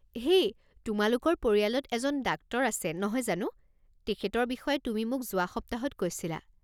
হেই তোমালোকৰ পৰিয়ালত এজন ডাক্টৰ আছে নহয় জানো? তেখেতৰ বিষয়ে তুমি মোক যোৱা সপ্তাহত কৈছিলা।